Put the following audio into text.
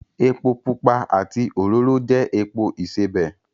Epo pupa àti òróró jẹ́ epo ìsebẹ̀